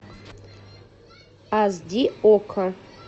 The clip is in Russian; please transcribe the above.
аш ди окко